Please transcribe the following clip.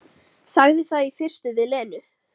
Sagði það í fyrstu við Lenu.